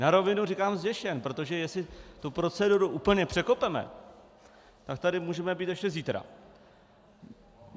Na rovinu říkám zděšen, protože jestli tu proceduru úplně překopeme, tak tady můžeme být ještě zítra.